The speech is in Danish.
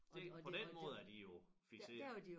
På den måde er de jo fikserede